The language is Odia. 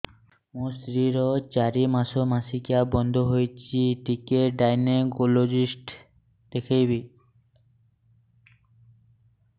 ମୋ ସ୍ତ୍ରୀ ର ଚାରି ମାସ ମାସିକିଆ ବନ୍ଦ ହେଇଛି ଟିକେ ଗାଇନେକୋଲୋଜିଷ୍ଟ ଦେଖେଇବି